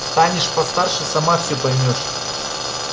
станешь постарше сама всё поймёшь